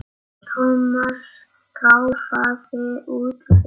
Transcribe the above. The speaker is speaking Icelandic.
Thomas ráfaði út fyrir.